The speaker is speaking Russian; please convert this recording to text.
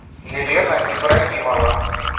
елена ибрагимова